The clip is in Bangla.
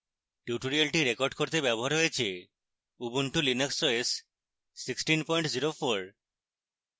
tutorial রেকর্ড করতে ব্যবহার হয়েছে: ubuntu linux os 1604